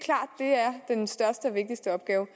er den største og vigtigste opgave